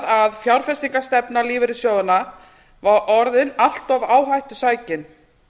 að fjárfestingarstefna lífeyrissjóðanna var orðin allt of áhættusækin